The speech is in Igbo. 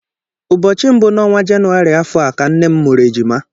Ụbọchị mbụ n'ọnwa Jenụwarị afọ a ka nne m mụrụ ejima.